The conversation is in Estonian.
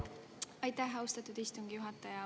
Aitäh, austatud istungi juhataja!